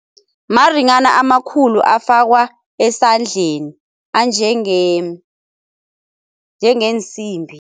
Maringhana amakhulu afakwa esandleni anjenge, njengeensimbi.